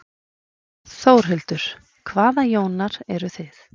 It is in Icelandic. Þórhildur: Hvaða Jónar eruð þið?